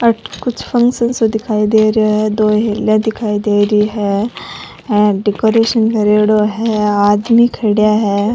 अठे कोई फंग्शन सो दिखाई दे रो है डेकोरेशन करेड़ा है आदमी खड़ेया है।